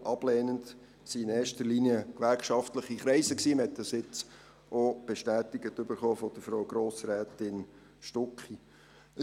Ablehnend zeigten sich in erster Linie gewerkschaftliche Kreise, was wir eben von Frau Grossrätin Stucki bestätigt erhalten haben.